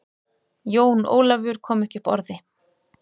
Jón Ólafur kom ekki upp orði.